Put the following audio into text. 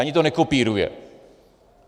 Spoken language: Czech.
Ani to nekopíruje.